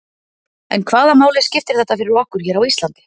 En hvaða máli skiptir þetta fyrir okkur hér á Íslandi?